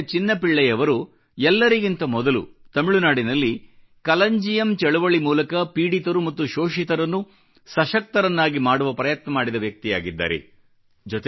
ಮಧುರೈ ನ ಚಿನ್ನ ಪಿಳ್ಳೈ ಅವರು ಎಲ್ಲರಿಗಿಂತ ಮೊದಲು ತಮಿಳುನಾಡಿನಲ್ಲಿ ಕಲಂಜಿಯಮ್ ಚಳವಳಿ ಮೂಲಕ ಪೀಡಿತರು ಮತ್ತು ಶೋಷಿತರನ್ನು ಸಶಕ್ತರನ್ನಾಗಿ ಮಾಡುವ ಪ್ರಯತ್ನ ಮಾಡಿದ ವ್ಯಕ್ತಿಯಾಗಿದ್ದಾರೆ